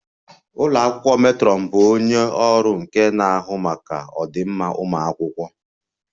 Ụlọ akwụkwọ matron bụ onye ọrụ nke na-ahụ maka ọdịmma ụmụ akwụkwọ